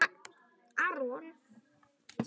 Það er mikilvægt fyrir hann að spila.